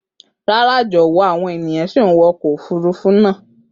Rara jọwọ, ọkọ ofurufu naa tun n wọ.